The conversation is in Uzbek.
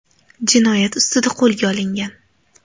jinoyat ustida qo‘lga olingan.